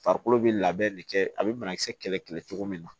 Farikolo be labɛn de kɛ a be banakisɛ kɛlɛ kɛlɛ cogo min na